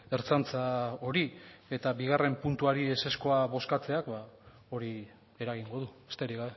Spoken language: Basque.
ertzaintza hori eta bigarren puntuari ezezkoak bozkatzeak hori eragingo du besterik